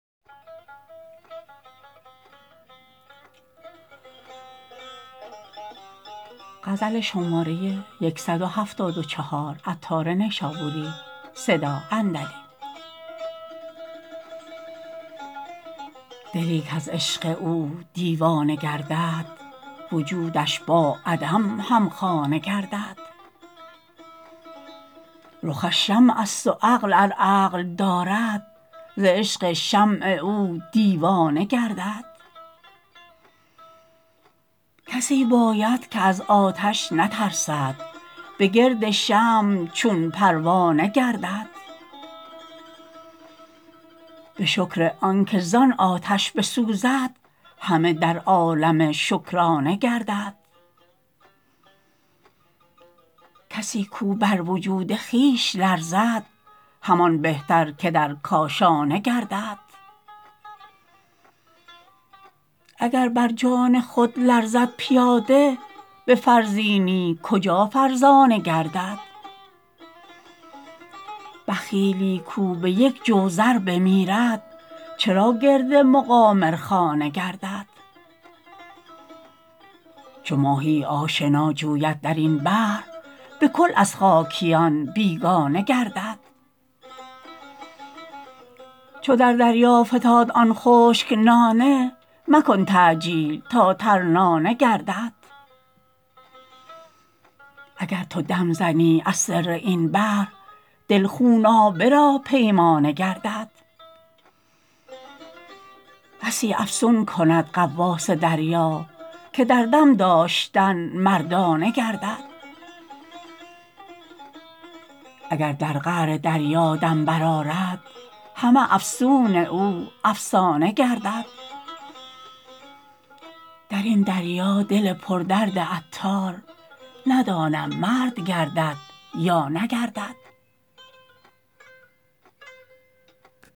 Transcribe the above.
دلی کز عشق او دیوانه گردد وجودش با عدم همخانه گردد رخش شمع است و عقل ار عقل دارد ز عشق شمع او دیوانه گردد کسی باید که از آتش نترسد به گرد شمع چون پروانه گردد به شکر آنکه زان آتش بسوزد همه در عالم شکرانه گردد کسی کو بر وجود خویش لرزد همان بهتر که در کاشانه گردد اگر بر جان خود لرزد پیاده به فرزینی کجا فرزانه گردد بخیلی کو به یک جو زر بمیرد چرا گرد مقامرخانه گردد چو ماهی آشنا جوید درین بحر بکل از خاکیان بیگانه گردد چو در دریا فتاد آن خشک نانه مکن تعجیل تا ترنانه گردد اگر تو دم زنی از سر این بحر دل خونابه را پیمانه گردد بسی افسون کند غواص دریا که در دم داشتن مردانه گردد اگر در قعر دریا دم برآرد همه افسون او افسانه گردد درین دریا دل پر درد عطار ندانم مرد گردد یا نگردد